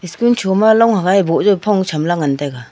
tun choma long hagai boh jao phong cham la ngan taga.